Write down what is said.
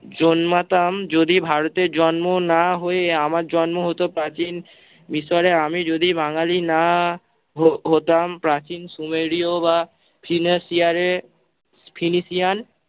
জন্মাতাম, যদি ভারতে জন্ম না হয়ে আমার জন্ম হত প্রাচীন মিশরে, আমি যদি বাঙালি না হ~ হতাম প্রাচীন সুমেরীয় বা ফিলেসিয়ারের ফিলিসিয়ান-